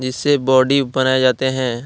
इससे बॉडी बनाए जाते हैं।